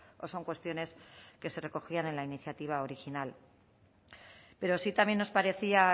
o son cuestiones que se recogían en la iniciativa original pero sí también nos parecía